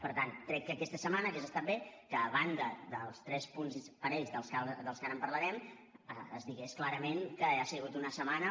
per tant crec que aquesta setmana hauria estat bé que a banda dels tres punts parells dels que ara parlarem es digués clarament que ha sigut una setmana